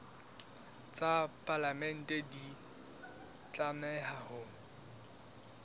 tsa palamente di tlameha ho